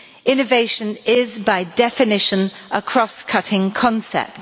innovation is by definition a cross cutting concept.